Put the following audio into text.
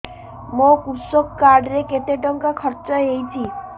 ମୋ କୃଷକ କାର୍ଡ ରେ କେତେ ଟଙ୍କା ଖର୍ଚ୍ଚ ହେଇଚି